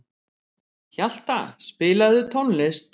Hjalta, spilaðu tónlist.